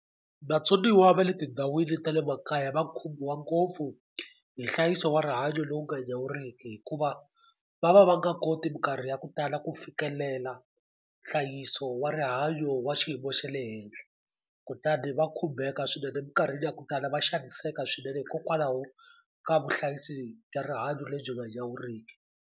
Vatsoniwa va le tindhawini ta le makaya va khomiwa ngopfu hi nhlayiso wa rihanyo lowu nga nyawuriki hikuva va va va nga koti minkarhi ya ku tala ku fikelela nhlayiso wa rihanyo wa xiyimo xa le henhla kutani va khumbeka swinene minkarhini ya ku tala va xaniseka swinene hikokwalaho ka vuhlayisi bya rihanyo lebyi nga nyawuriki.